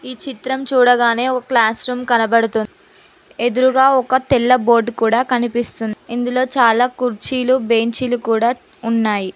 ఈ చిత్రం చూడగానే ఒక క్లాస్ రూమ్ కనబడుతుంది ఎదురుగా ఒక తెల్ల బోర్డు కూడా కనిపిస్తుంది ఇందులో చాలా కుర్చీలు బెంచీలు కూడా ఉన్నాయి.